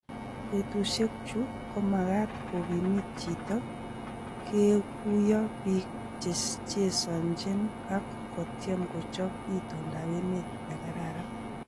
"Betushiek chu komagat kong'omit chito koguyo Bik chechesonjin ok kotyem kochop itondap emet nekararan.